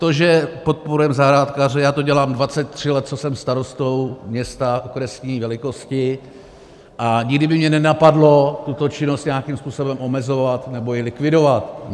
To, že podporujeme zahrádkáře, já to dělám 23 let, co jsem starostou města okresní velikosti, a nikdy by mě nenapadlo tuto činnost nějakým způsobem omezovat nebo ji likvidovat.